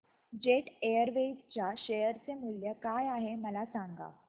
jet Airways च्या share चे मूल्य काय आहे मला सांगा